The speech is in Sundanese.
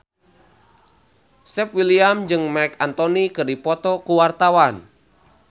Stefan William jeung Marc Anthony keur dipoto ku wartawan